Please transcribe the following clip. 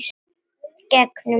Gegnum hann.